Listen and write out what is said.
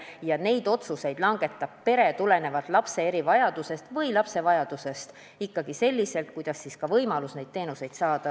Ja neid otsuseid langetab pere, lähtudes lapse erivajadusest või sellest, kuidas on võimalus teenuseid saada.